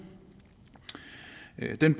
den